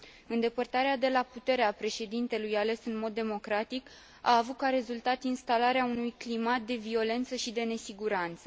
Îndepărtarea de la putere a președintelui ales în mod democratic a avut ca rezultat instalarea unui climat de violență și de nesiguranță.